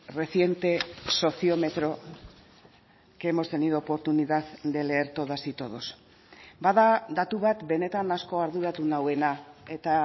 reciente sociómetro que hemos tenido oportunidad de leer todas y todos bada datu bat benetan asko arduratu nauena eta